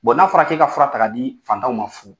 n'a fɔra k'e ka fura ta k'a di fatanw ma fu.